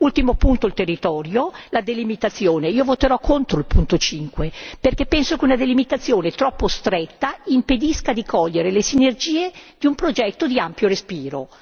Quarto e ultimo punto il territorio, la delimitazione io voterò contro il punto 5, perché penso che una delimitazione troppo stretta impedisca di cogliere le sinergie di un progetto di ampio respiro.